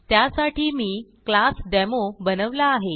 त्यासाठी मी class demo बनवला आहे